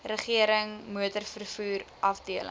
regerings motorvervoer afdeling